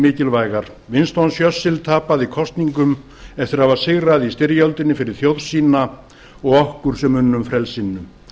mikilvægar winston churchill tapaði kosningum eftir að hafa sigrað í styrjöldinni fyrir þjóð sína og okkur sem unnum frelsinu